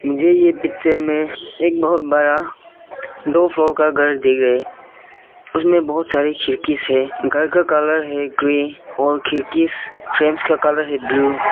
मुझे ये पिक्चर में एक बहोत बड़ा दो फ्लोर का घर दिख रहा है उसमें बहुत सारी खिड़की है घर का कलर है ग्रीन और खिड़की फ्रेम का कलर है ब्लू ।